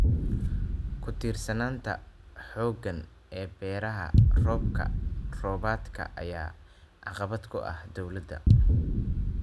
Ku-tiirsanaanta xooggan ee beeraha roobka-roobaadka ayaa caqabad ku ah dowladda.